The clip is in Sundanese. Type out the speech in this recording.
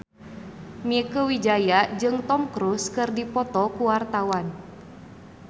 Mieke Wijaya jeung Tom Cruise keur dipoto ku wartawan